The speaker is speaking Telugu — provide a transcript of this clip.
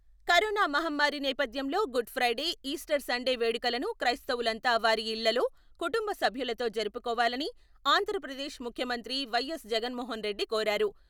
కరోనా మహమ్మారి నేపథ్యంలో గుడ్ ఫ్రైడే, ఈస్టర్ సండే వేడుకలను క్రైస్తవులంతా వారి ఇళ్లల్లో, కుటుంబ సభ్యులతో జరుపుకోవాలని ఆంధ్రప్రదేశ్ ముఖ్యమంత్రి వైఎస్ జగన్మోహన్ రెడ్డి కోరారు.